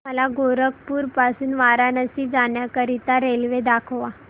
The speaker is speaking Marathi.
मला गोरखपुर पासून वाराणसी जाण्या करीता रेल्वे दाखवा